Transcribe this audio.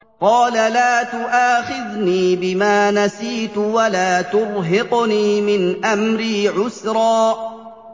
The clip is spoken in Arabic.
قَالَ لَا تُؤَاخِذْنِي بِمَا نَسِيتُ وَلَا تُرْهِقْنِي مِنْ أَمْرِي عُسْرًا